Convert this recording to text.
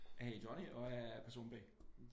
Jeg hedder Johnny og jeg er person B